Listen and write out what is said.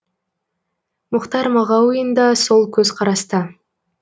мұхтар мағауин да сол көзқараста